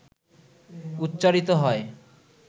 উচ্চারিত হয়,